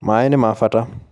Mai nimabata